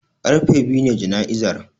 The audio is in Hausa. Karfe biyu ne jana'izar